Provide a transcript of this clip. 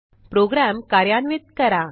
program कार्यान्वित करा